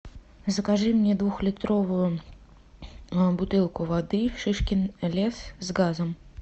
закажи мне двухлитровую бутылку воды шишкин лес с газом